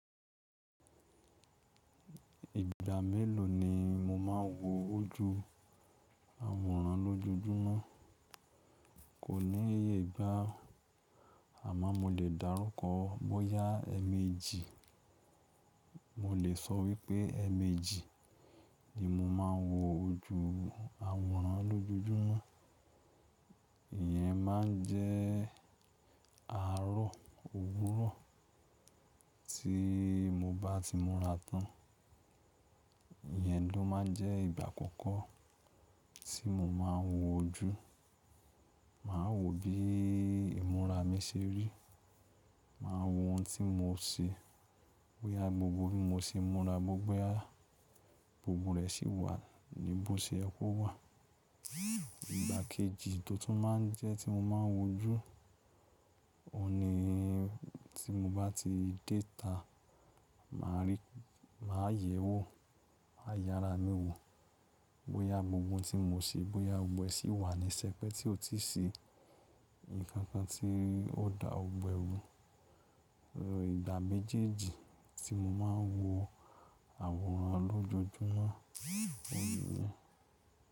Ìgbà mélòó ni mo máa ń wo ojú àwòrán lójojúmọ́? Kò ní iye ìgbá àmọ́ mo lè dárúkọ bọ́yá ẹ̀mejì. Mo lè sọ wípé ẹ̀mejì ni mo máa ń wo ojú àwòrán lójoojúmọ́. Iyẹn máa n jẹ́ àárọ̀ òwúrọ̀ tí mo bá ti múra tán. Iyẹn ló máa n jẹ́ ìgbà àkọ́kọ́ tí mo máa ń wo ojú. Màá wo bí ìmúra mi ṣe rí. Màá wo ohun tí mo ṣe. Bóyá gbogbo bí mo ṣe n múra bóyá, gbogbo rẹ̀ sì wà ní bó ṣe kó wà. Ìgbà kejì tó tún máa ń jẹ́ tí mo máa ń wo ojú, òun ni tí mo bá ti déta, màá rí, màá yẹ̀ẹ́wò, màá yára mi wò. Bóyá gbogbo oun tí mo ṣe, bóyá gbogbo ẹ sì wà ní sẹpẹ́ tí ó tíì sí nǹkan kan tí ó dà gbogbo ẹ̀ rú. Ìgbà méjèèjì tí mo máa ń wo àwòrán lójojúmọ́, òun nìyẹn.